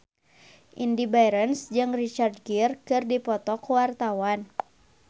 Indy Barens jeung Richard Gere keur dipoto ku wartawan